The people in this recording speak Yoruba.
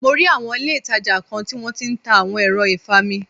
Mo rí awọn ilé ìtàjà kọ̀ọ̀kan tí wón tí ń ta awon ẹ̀rọ ìfami.